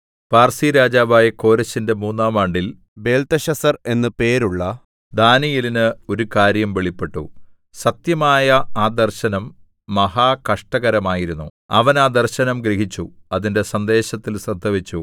പാർസിരാജാവായ കോരെശിന്റെ മൂന്നാം ആണ്ടിൽ ബേൽത്ത്ശസ്സർ എന്നു പേരുള്ള ദാനീയേലിന് ഒരു കാര്യം വെളിപ്പെട്ടു സത്യമായ ആ ദർശനം മഹാകഷ്ടകരമായിരുന്നു അവൻ ആ ദർശനം ഗ്രഹിച്ചു അതിന്റെ സന്ദേശത്തിൽ ശ്രദ്ധവച്ചു